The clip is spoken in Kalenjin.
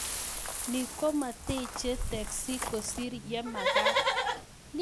Ni kometiche tekis kosiir yemakat